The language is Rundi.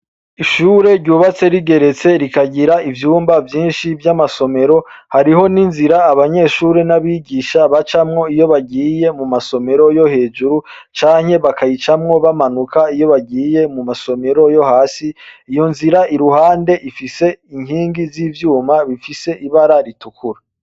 Ishure ryubatse rigeretse rikagira ivyumba vyinshi vy'amasomero hariho ni nzira abanyeshure n'abigisha bacamwo iyo bagiye mu masomero yo hejuru canke bakayicamwo bamanuka iyo bagiye mu masomero yo hasi iyo nzira i ruhande ifise inkingi z'ivyuma bifise ibararia tukura.